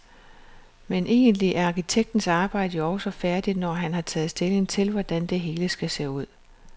Men egentlig er arkitektens arbejde jo også færdigt, når han har taget stilling til, hvordan det hele skal se ud.